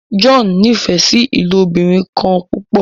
John n'ifẹ sí ilobirin kán púpọ.